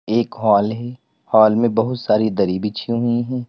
एक हॉल है। हॉल में बहुत सारी दरी बिछी हुई हैं।